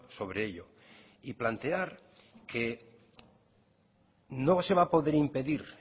sobre ello y plantear que no se va a poder impedir